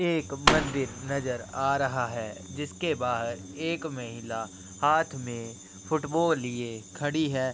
एक मंदिर नजर आ रहा है जिसके बाहर एक महिला हाथ में फुटबॉल लिए खड़ी है।